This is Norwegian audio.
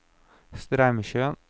Straumsjøen